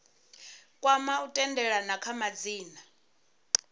kwama u tendelana kha madzina